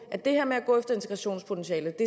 at det her med at gå efter integrationspotentialet